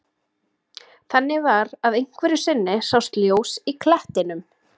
Þannig var að einhverju sinni sást ljós í klettinum.